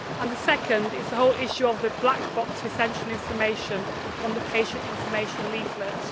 The second is the issue of the black box of essential information on the patient information leaflet.